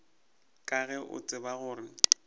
ka ge o tseba gore